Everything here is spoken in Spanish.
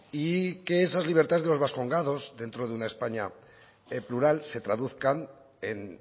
y que esas libertades de los vascongados dentro de una españa plural se traduzcan en